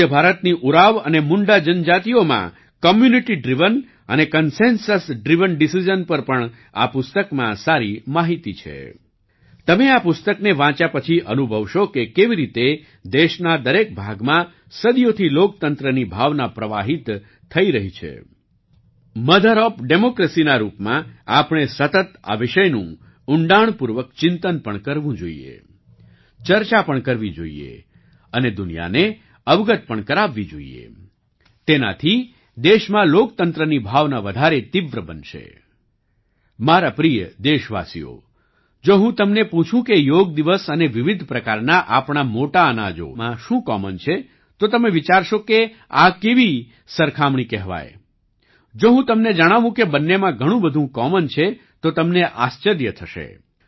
મારા પ્રિય દેશવાસીઓ જો હું તમને પૂછું કે યોગ દિવસ અને વિવિધ પ્રકારના આપણા મોટા અનાજોમાં શું કોમન છે તો તમે વિચારશો કે આ કેવી સરખામણી કહેવાય જો હું તમને જણાવું કે બંનેમાં ઘણું બધું કોમન છે તો તમને આશ્ચર્ય થશે